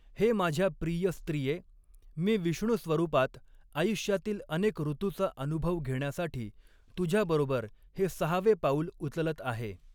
हे माझ्या प्रिय स्त्रिये, मी विष्णुस्वरूपात, आयुष्यातील अनेक ऋतूचा अनुभव घेण्यासाठी तुझ्याबरोबर हे सहावे पाऊल उचलत आहे.